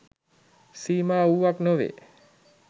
සීමා වූවක් නොවේ.